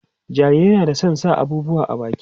jarirai na da San sa abubuwa a baki